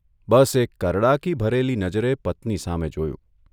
બસ એક કરડાકી ભરેલી નજરે પત્ની સામે જોયું.